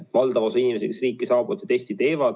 Valdav osa inimesi, kes riiki saabuvad, selle testi teevad.